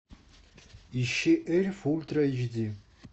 ищи эльф ультра эйч ди